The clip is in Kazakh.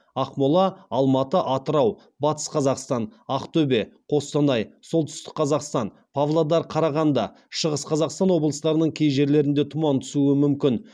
ақмола алматы атырау батыс қазақстан ақтөбе қостанай солтүстік қазақстан павлодар қарағанды шығыс қазақстан облыстарының кей жерлерінде тұман түсуі мүмкін